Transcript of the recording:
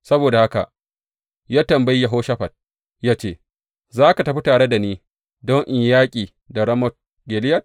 Saboda haka ya tambayi Yehoshafat, ya ce, Za ka tafi tare da ni don in yi yaƙi da Ramot Gileyad?